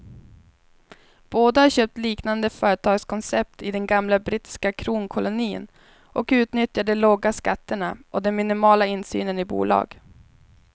Båda har köpt liknande företagskoncept i den gamla brittiska kronkolonin och utnyttjar de låga skatterna och den minimala insynen i bolag.